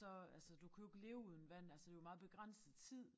Så altså du kan jo ikke leve uden vand altså jo meget begrænset tid